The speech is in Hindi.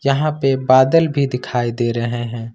यहां पे बादल भी दिखाई दे रहे हैं।